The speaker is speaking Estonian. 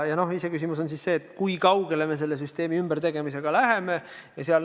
Iseküsimus on see, kui kaugele me selle süsteemi ümbertegemisega läheme.